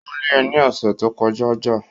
Wọ́n lé e ní ọ̀sẹ̀ tí o kọ já